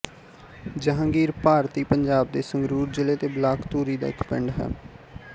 ਜਹਾਂਗੀਰ ਭਾਰਤੀ ਪੰਜਾਬ ਦੇ ਸੰਗਰੂਰ ਜ਼ਿਲ੍ਹੇ ਦੇ ਬਲਾਕ ਧੂਰੀ ਦਾ ਇੱਕ ਪਿੰਡ ਹੈ